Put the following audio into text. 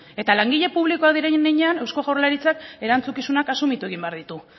eta langile publikoa diren heinean eusko jaurlaritzak erantzukizunak asumitu egin behar ditu